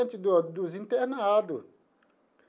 Do dos internado.